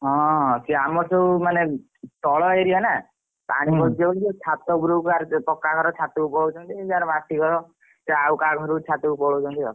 ହଁ ସେଇ ଆମର ସବୁ ମାନେ ତଳ area ନା ପାଣି ପଶିଯାଉଛି ଛାତ ଉପରକୁ ପୁରା କାହାର ପକ୍କା ଘର ଛାତ କୁ ପଳାଉଛନ୍ତି ଯାହାର ମାଟି ଘର ସେ ଆଉ କାହା ଘରକୁ ଛାତ କୁ ପଳାଉଛନ୍ତି ଆଉ।